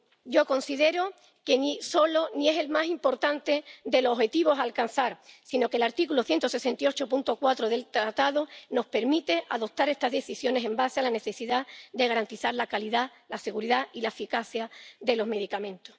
Yo considero que este no es ni el único ni el más importante de los objetivos a alcanzar, sino que el artículo 168, apartado 4, del TFUE nos permite adoptar estas decisiones con base en la necesidad de garantizar la calidad, la seguridad y la eficacia de los medicamentos.